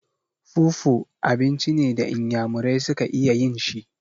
Fufu abinci ne da inyamurai su ka iya yin shi.